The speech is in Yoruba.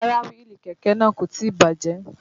Rárá wíìlì kẹ̀kẹ́ náà kò tí bàjẹ́